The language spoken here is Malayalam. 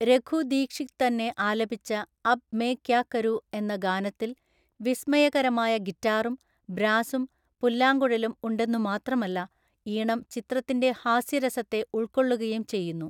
രഘു ദീക്ഷിത് തന്നെ ആലപിച്ച അബ് മേം ക്യാ കരൂ എന്ന ഗാനത്തിൽ വിസ്മയകരമായ ഗിറ്റാറും, ബ്രാസും, പുല്ലാങ്കുഴലും ഉണ്ടെന്നുമാത്രമല്ല, ഈണം ചിത്രത്തിൻ്റെ ഹാസ്യരസത്തെ ഉൾക്കൊള്ളുകയും ചെയ്യുന്നു.